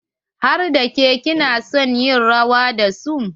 Har da ke ki na son yin rawa da su?